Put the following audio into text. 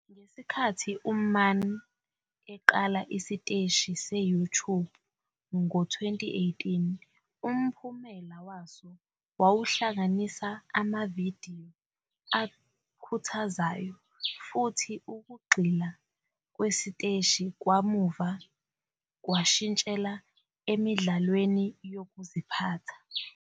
Ngesikhathi uMann eqala isiteshi se-YouTube ngo-2018, umphumela waso wawuhlanganisa amavidiyo akhuthazayo, futhi ukugxila kwesiteshi kamuva kwashintshela emidlalweni yokuziphatha.